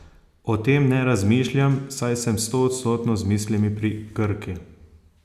O tem ne razmišljam, saj sem stoodstotno z mislimi pri Krki.